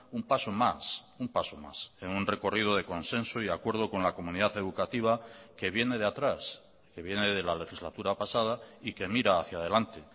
un paso más un paso más en un recorrido de consenso y acuerdo con la comunidad educativa que viene de atrás que viene de la legislatura pasada y que mira hacia delante